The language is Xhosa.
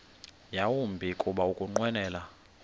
yawumbi kuba ukunqwenela